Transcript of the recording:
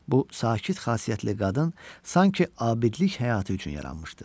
Bu sakit xasiyyətli qadın sanki abidlik həyatı üçün yaranmışdı.